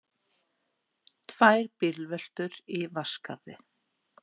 Tvær bílveltur í Vatnsskarði